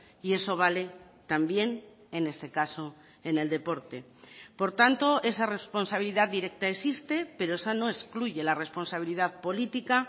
y eso vale también en este caso en el deporte por tanto esa responsabilidad directa existe pero eso no excluye la responsabilidad política